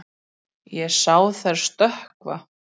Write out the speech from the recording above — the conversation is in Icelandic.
Ég sá þær stökkva.